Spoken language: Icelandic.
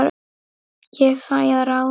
Ég fæ að ráða.